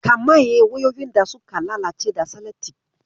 Ka maye wayoyin da suka lalace da salatif.